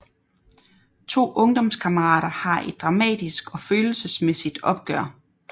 To ungdomskammerater har et dramatisk og følelsesmæssigt opgør